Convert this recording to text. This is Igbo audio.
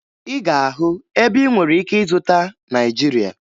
Ị ga-ahụ ebe ị nwere ike ịzụta Naịjirịa